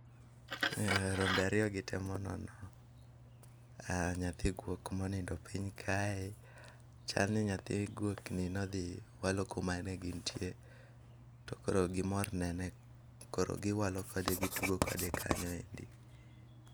Eh rombe ariyogi temo nono nyathi guok ma onindo pin kae, chal ni nyathi guokni nodhi walo kuma ne gintie, to koro gimor nene to kor giwalo kode, gitugo kode kanyo ero.